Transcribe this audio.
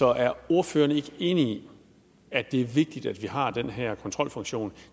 er ordføreren ikke enig i at det er vigtigt at vi har den her kontrolfunktion